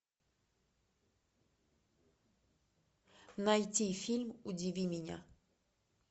найти фильм удиви меня